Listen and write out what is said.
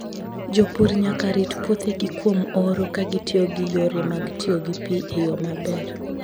Jopur nyaka rit puothegi kuom oro ka gitiyo gi yore mag tiyo gi pi e yo maber.